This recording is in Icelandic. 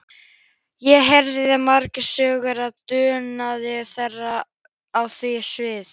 Ég heyrði margar sögur af dugnaði þeirra á því sviði.